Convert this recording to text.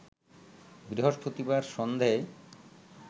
বৃহস্পতিবার সন্ধেয়